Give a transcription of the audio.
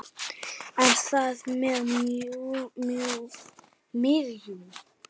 En hvað með miðjuna?